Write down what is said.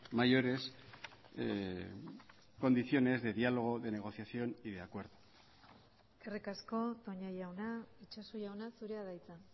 mayores condiciones de diálogo de negociación y de acuerdo eskerrik asko toña jauna itxaso jauna zurea da hitza